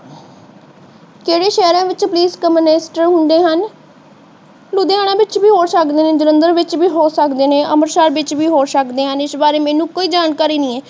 ਕਿਹੜੇ ਸ਼ਹਿਰਾਂ ਵਿੱਚ ਪੁਲਿਸ ਕੰਮਿਸ੍ਟਰ ਹੁੰਦੇ ਹਨ ਲੁਧਿਆਣਾ ਵਿੱਚ ਵੀ ਹੋ ਸਕਦੇ ਹਨ ਜਲੰਧਰ ਵਿੱਚ ਵੀ ਹੋ ਸਕਦੇ ਹਨ ਅਮ੍ਰਿਤਸਰ ਵਿੱਚ ਵੀ ਹੋ ਸਕਦੇ ਨੇ। ਇਸ ਬਾਰੇ ਮੈਨੂੰ ਕੋਈ ਜਾਣਕਾਰੀ ਨਹੀਂ ਹੈ।